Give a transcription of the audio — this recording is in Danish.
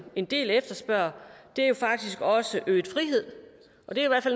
en del efterspørger faktisk også øget frihed og det er